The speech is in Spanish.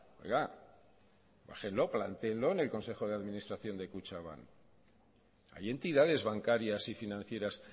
oiga bájenlo plantéenlo en el consejo de administración de kutxabank hay entidades bancarias y financieras